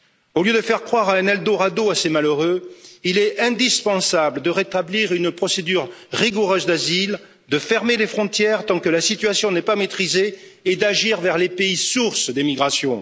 Au lieu de faire croire à un eldorado à ces malheureux, il est indispensable de rétablir une procédure rigoureuse d'asile, de fermer les frontières tant que la situation n'est pas maîtrisée, et d'agir vers les pays sources d'immigration.